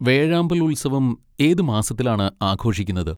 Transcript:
വേഴാമ്പൽ ഉത്സവം ഏത് മാസത്തിലാണ് ആഘോഷിക്കുന്നത്?